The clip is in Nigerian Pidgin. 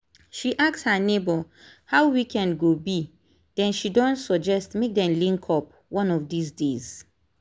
she ask her neighbor how weekend go be then she don suggest make dem link up one of these days.